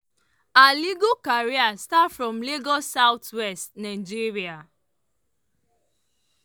her legal career start from lagos south west nigeria.